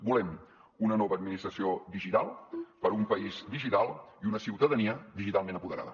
volem una nova administració digital per a un país digital i una ciutadania digitalment apoderada